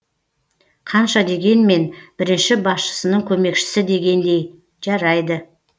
қанша дегенмен бірінші басшысының көмекшісі дегендей жарайды